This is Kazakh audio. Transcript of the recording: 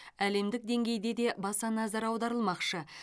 әлемдік деңгейде де баса назар аударылмақшы